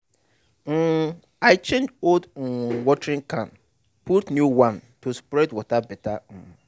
um i change old um watering can put new one to spread water better. um